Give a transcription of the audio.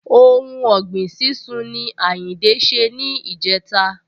Ohun ọ̀gbìn sísún ni Àyìndé ṣe ni ìjẹta